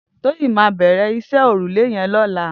Toyin mà bẹ̀rẹ̀ iṣẹ̀ órúlé yèn lọ̀lá